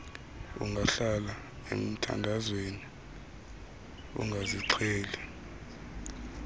ungahlala emthandazweni ungazixheli